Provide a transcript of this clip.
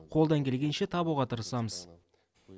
қолдан келгенше табуға тырысамыз